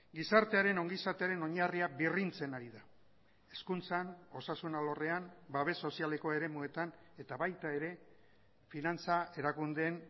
gizartearen ongizatearen oinarria birrintzen ari da hezkuntzan osasun alorrean babes sozialeko eremuetan eta baita ere finantza erakundeen